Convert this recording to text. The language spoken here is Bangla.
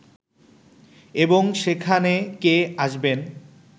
এবং সেখানে কে আসবেন